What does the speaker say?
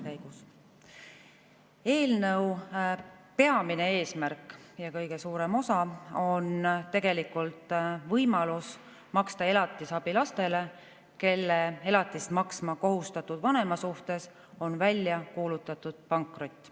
Eelnõu peamine eesmärk – ja eelnõu kõige suurem osa – on võimalus maksta elatisabi lastele, kelle elatist maksma kohustatud vanema suhtes on välja kuulutatud pankrot.